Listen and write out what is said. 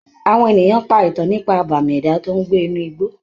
Àwọn ènìyàn pa ìtàn nípa àbàmì ẹ̀dá tó ń gbé inú igbó.